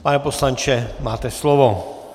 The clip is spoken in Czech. Pane poslanče, máte slovo.